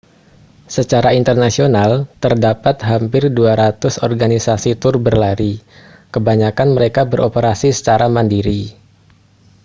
secara internasional terdapat hampir 200 organisasi tur berlari kebanyakan mereka beroperasi secara mandiri